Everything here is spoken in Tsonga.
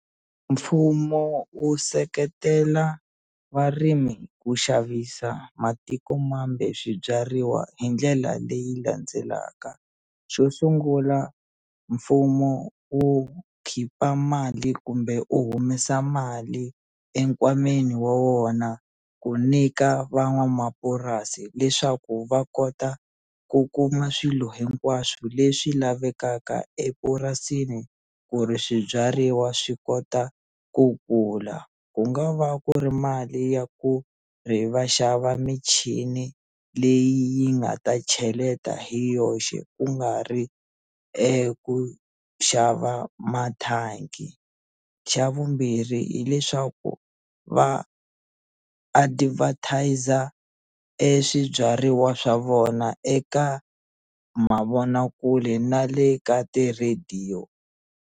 Mfumo wu seketela varimi ku xavisa matikomambe swibyariwa hi ndlela leyi landzelaka xo sungula mfumo wu khipha mali kumbe u humesa mali enkwameni wa wona ku nyika van'wamapurasi leswaku va kota ku kuma swilo hinkwaswo leswi lavekaka epurasini ku ri swibyariwa swi kota ku kula ku nga va ku ri mali ya ku ri va xava michini leyi yi nga ta cheleta hi yoxe ku nga ri eku xava mathangi xa vumbirhi hileswaku va advertiser e swibyariwa swa vona eka mavonakule na le ka ti-radio.